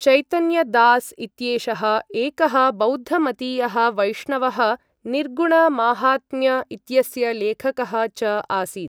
चैतन्य दास् इत्येषः एकः बौद्धमतीयः वैष्णवः निर्गुण माहात्म्य इत्यस्य लेखकः च आसीत्।